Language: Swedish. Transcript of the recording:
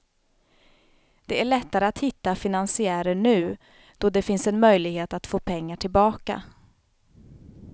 Det är lättare att hitta finansiärer nu då det finns en möjlighet att få pengar tillbaka.